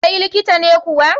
kai likita ne kuwa?